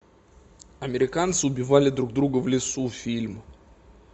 американцы убивали друг друга в лесу фильм